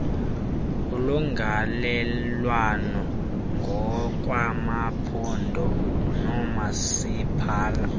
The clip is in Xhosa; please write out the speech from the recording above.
ulungelelwano ngokwamaphondo noomasipala